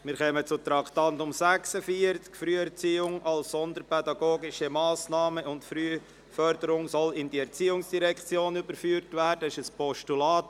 Beim Traktandum 46, «Früherziehung als sonderpädagogische Massnahme und frühe Förderung sollen in die Erziehungsdirektion überführt werden», handelt es sich um ein Postulat.